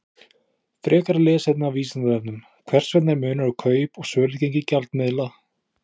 Frekara lesefni á Vísindavefnum: Hvers vegna er munur á kaup- og sölugengi gjaldmiðla?